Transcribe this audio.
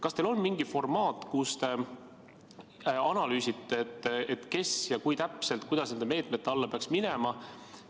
Kas teil on mingi formaat analüüsimiseks, kes täpselt ja kuidas nende meetmete alla peaks minema?